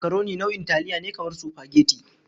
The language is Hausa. Makaroni nau'in taliya ne kamar supageti.